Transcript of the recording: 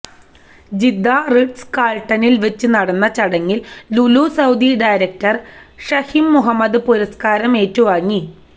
Jeddah Ritz കാൾട്ടണിൽ വെച്ച് നടന്ന ചടങ്ങിൽ ലുലു സൌദി ഡയരക്ടർ ഷഹീം മുഹമ്മദ് പുരസ്കാരം ഏറ്റുവാങ്ങി